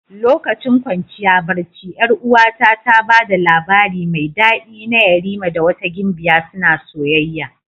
Lokacin kwanciya barci 'Yar'uwata ta ba da labari mai dadi na yerima da wata gimbiya suna soyayya.